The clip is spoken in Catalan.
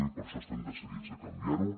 i per això estem decidits a canviar ho